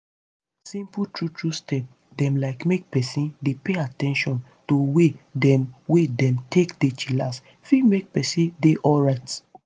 simple true true step dem like make peson dey pay at ten tion to way dem wey dem take dey chillax fit make peson dey alrite.